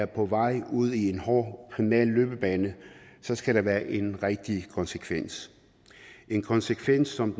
på vej ud i en hård kriminel løbebane så skal der være en rigtig konsekvens en konsekvens som